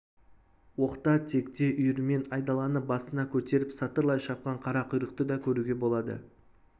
оқта-текте үйірімен айдаланы басына көтеріп сатырлай шапқан қара құйрықты да көруге болады